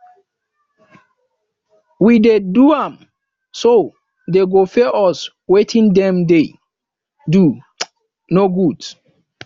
we dey do am so dey go pay us wetin dem dey do no good